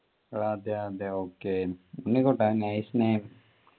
അതെ അതെ okay ഉണ്ണിക്കുട്ടാ nice name